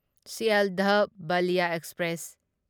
Sealdah Ballia express